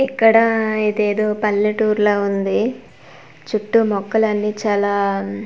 ఇక్కడ ఇదేదో పల్లెటూరులా ఉంది చుట్టూ మొక్కలన్ని చాలా--